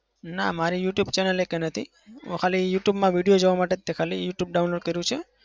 ના મારી youtube channel એકય નથી. ખાલી youtube માં video જોવા માટે તે ખાલી youtube download કર્યું છે.